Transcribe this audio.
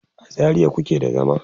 a zaria kuke da zama?